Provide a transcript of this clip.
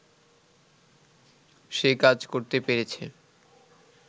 সে কাজ করতে পেরেছে